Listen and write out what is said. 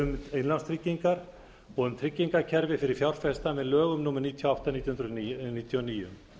um innlánstryggingar og um tryggingakerfi fyrir fjárfesta með lögum númer níutíu og átta nítján hundruð níutíu og níu